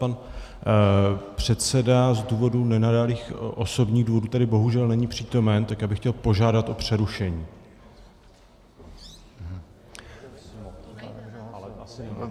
Pan předseda z důvodu nenadálých osobních důvodů tady bohužel není přítomen, tak já bych chtěl požádat o přerušení.